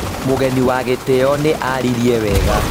Mũgeni wa gĩtĩo nĩ aaririe wega